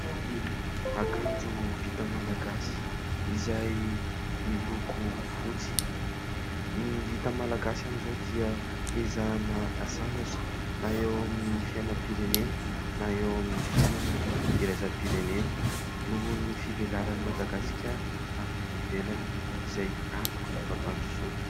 Akanjo vita malagasy izay miloko fotsy. Ny vita malagasy amin'izao dia hiezahana asandratra na eo amin'ny fiainam-pirenena na eo amin'ny fiainana iraisam-pirenena nohon' ny fivelaran' i Madagasikara amin'ny any ivelany izay antoky ny fampandrosoana.